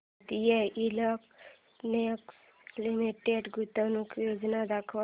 Bharat electronics limited गुंतवणूक योजना दाखव